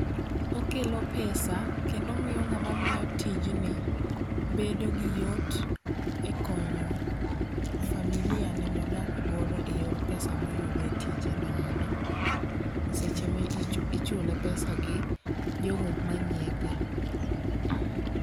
Okelo pesa kendo omiyo ng'ama miyo tijni bedo gi yot e konyo familia ne modak godo eyor pesa moyudo e tijeno endo, seche ma ichule pesa gi jogo manyiepo